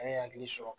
An ye hakili sɔrɔ